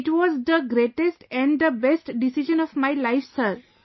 It was the greatest & the best decision of my life Sir